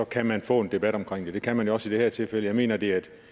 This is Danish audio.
kan man få en debat omkring det det kan man jo også i det her tilfælde jeg mener at det er et